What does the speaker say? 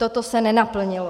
Toto se nenaplnilo.